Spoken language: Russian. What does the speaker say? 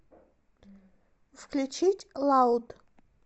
включить лауд